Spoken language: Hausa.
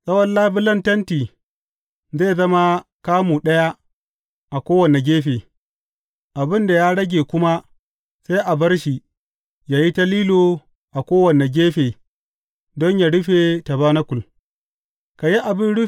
Tsawon labulen tenti zai zama kamu ɗaya a kowane gefe, abin da ya rage kuma sai a bar shi ya yi ta lilo a kowane gefe don yă rufe tabanakul.